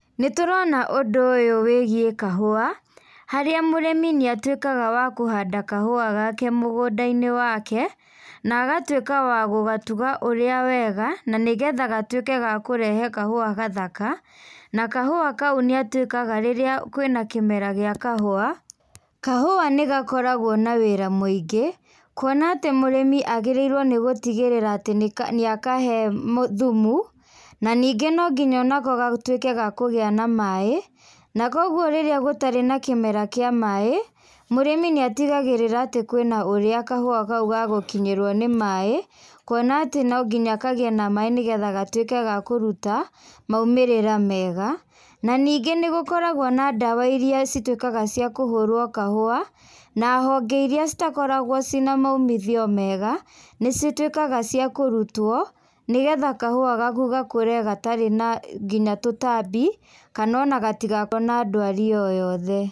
Nĩtũrona ũndũ ũyũ wĩgĩe kahũa, harĩa mũrĩmi nĩatũikaga wa kũhanda kahũa gake mũgunda-ĩnĩ wake, na agatũĩka wa gũgatuga ũrĩa wega na nĩgetha gatũĩke ga kũrehe kahũa gathaka. Na kahũa kaũ nĩatũikaga rĩrĩa kwĩna kĩmera gĩa kahũa. Kahũa nĩgakoragwo na wĩra mũingĩ kũona atĩ mũrĩmi agĩrĩirwo nĩ gũtĩgĩrira atĩ nĩakahe thũmũ, na nĩngi no ngĩnya onako gatũike gakũgĩa na maĩ na kwa ogwo rĩrĩa gũtarĩ na kĩmera kĩa maĩ, mũrĩmi nĩatĩgagĩrira atĩ kwĩ na ũrĩa kahũa kaũ gagũkĩnyerwo nĩ maĩ, kũona atĩ no ngĩnya kagĩe na maĩ nĩgũo gatũike ga kũrũta maũmĩrira mega. Na nĩngĩ nĩgũkoragwo na ndawa ĩrĩa cĩtũikaga cĩa kũhũrwo kahũa na honge ĩrĩa cĩtakoragwo cĩena maũmĩthio mega nĩcĩtũikaga cĩa kũrũtwo nĩgetha kahũa gakũ gakũre gatarĩ na ngĩnya tũtambĩ, kana ona gatigakorwo na ndwarĩ oyothe.